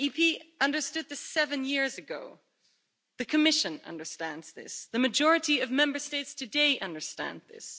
Parliament understood this seven years ago, the Commission understands this and the majority of Member States today understand this.